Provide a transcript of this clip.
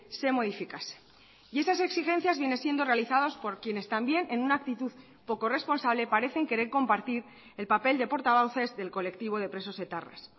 se modificase y esas exigencias viene siendo realizados por quienes también en una actitud poco responsable parecen querer compartir el papel de portavoces del colectivo de presos etarras